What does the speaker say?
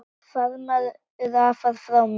Faðmaðu afa frá mér.